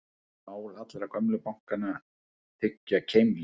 Mál allra gömlu bankanna þykja keimlík